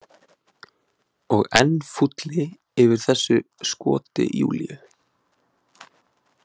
Og enn fúlli yfir þessu skoti Júlíu.